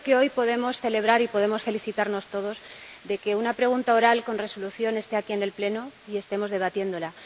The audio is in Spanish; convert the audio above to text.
Creo que hoy podemos celebrar —y podemos felicitarnos todos de ello— que una pregunta oral con resolución haya llegado aquí, al Pleno, y estemos debatiéndola.